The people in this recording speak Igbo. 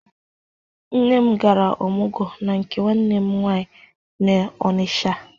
Nne m gara ọmụgwọ na nke nwanne m nwaanyị n'Ọnịcha.